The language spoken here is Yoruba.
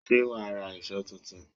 Ṣé wàá ra èṣó tuntun?